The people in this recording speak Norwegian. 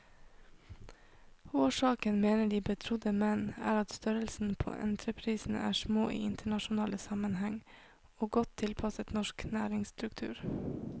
Årsaken, mener de betrodde menn, er at størrelsen på entreprisene er små i internasjonal sammenheng, og godt tilpasset norsk næringsstruktur.